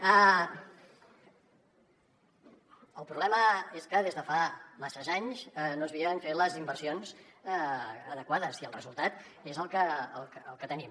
el problema és que des de fa masses anys no s’havien fet les inversions adequades i el resultat és el que tenim